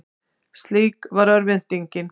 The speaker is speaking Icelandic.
Slík var örvæntingin.